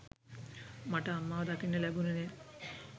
මට අම්මව දකින්න ලැබුනේ නෑ.